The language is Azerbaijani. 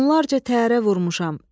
Onlarca təyyarə vurmuşam.